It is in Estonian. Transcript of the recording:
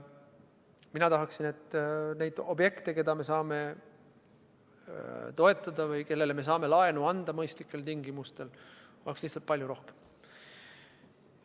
Mina tahaksin, et neid objekte, keda me saame toetada või kellele me saame laenu anda mõistlikel tingimustel, oleks lihtsalt palju rohkem.